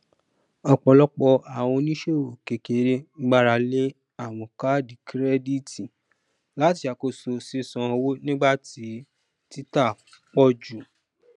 ọpọlọpọ àwọn oníṣòwò kékeré gbárà lé àwọn kaadi kirẹditi láti ṣàkóso ṣiṣàn owó nígbà tí títà pọ jù